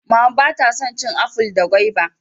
Mama ba ta san cin aful da gwaiba